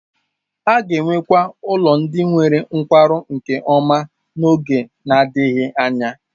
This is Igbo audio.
A ga-enwekwa ụlọ ndị nwere nkwarụ nke ọma n'oge na-adịghị anya.